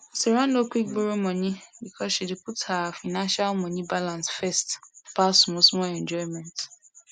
sarah no quick borrow money because she dey put her financialmoney balance first pass smallsmall enjoyment